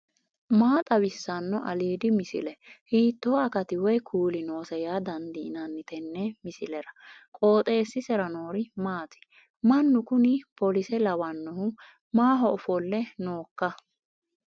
maa xawissanno aliidi misile ? hiitto akati woy kuuli noose yaa dandiinanni tenne misilera? qooxeessisera noori maati ? mannu kuni polise lawannohu maaho ofolle nooikka